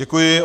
Děkuji.